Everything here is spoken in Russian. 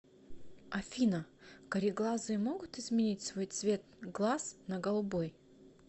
афина кареглазые могут изменить свой цвет глаз на голубой